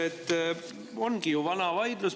See on ju vana vaidlus.